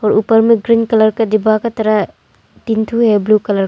ऊपर में green colour का डिब्बा का तरह तीन ठो है ब्लू कलर --